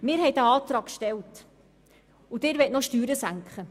Wir haben diesen Antrag gestellt, und Sie möchten nun noch die Steuern senken.